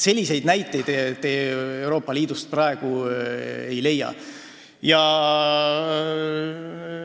Selliseid näiteid te Euroopa Liidust praegu ei leia.